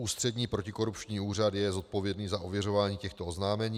Ústřední protikorupční úřad je zodpovědný za ověřování těchto oznámení.